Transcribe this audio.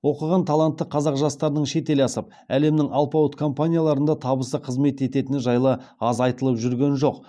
оқыған талантты қазақ жастарының шетел асып әлемнің алпауыт компанияларында табысты қызмет ететіні жайлы аз айтылып жүрген жоқ